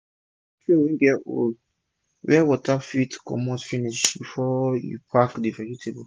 use tray wey get hole wey water fit commit finish before u pack d vegetable